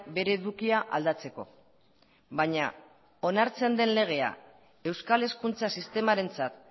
bere edukia aldatzeko baina onartzen den legea euskal hezkuntza sistemarentzat